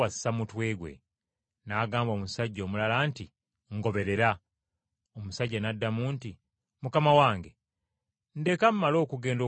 N’agamba omusajja omulala nti, “Ngoberera.” Omusajja n’addamu nti, “Mukama wange, nzikiriza mmale okugenda okuziika kitange.”